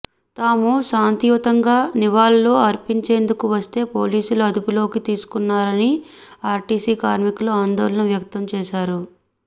తాము శాంతియుతంగా నివాళులు అర్పించేందుకు వస్తే పోలీసులు అదుపులోకి తీసుకుంటున్నారని ఆర్టీసీ కార్మికులు ఆందోళన వ్యక్తం చేశారు